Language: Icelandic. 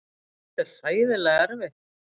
Þetta er hræðilega erfitt.